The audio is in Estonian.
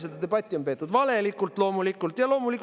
Seda debatti on peetud loomulikult valelikult.